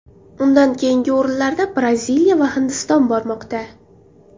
Undan keyingi o‘rinlarda Braziliya va Hindiston bormoqda.